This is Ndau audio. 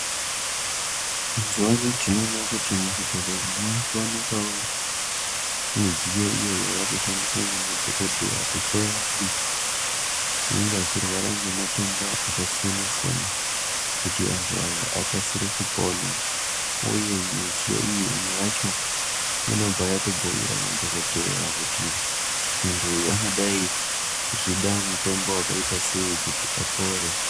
Mazuwa ano tinoona kuti muzvibhedhleya munowanikwawo midziyo iyo inoshandiswa nemadhokodheya kuhloya antu anenge achirwara ngematenda akasiyana siyana kuti antu aya akasire kupona uye midziyo iyi imwe yacho inobva yatobhuira madhokodheya kuti muntu uyu angadai achida mutombo wakaitasei kuti apore.